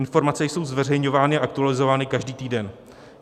Informace jsou zveřejňovány a aktualizovány každý týden.